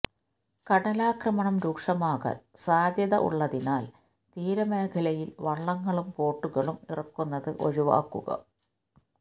കടലാക്രമണം രൂക്ഷമാകാൻ സാധ്യത ഉള്ളതിനാൽ തീരമേഖലയിൽ വള്ളങ്ങളും ബോട്ടുകളും ഇറക്കുന്നത് ഒഴിവാക്കുക